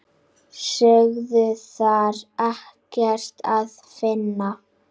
Sögðu þar ekkert að finna.